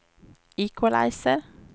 equalizer